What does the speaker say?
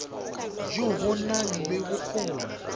jo bo nang le bokgoni